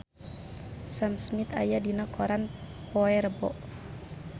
Sam Smith aya dina koran poe Rebo